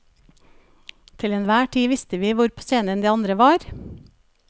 Til enhver tid visste vi hvor på scenen de andre var.